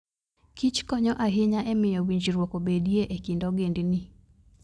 Kich konyo ahinya e miyo winjruok obedie e kind ogendini.